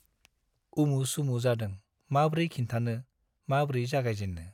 उमु - सुमु जादों माब्रै खिन्थानो , माब्रै जागायजेन्नो ।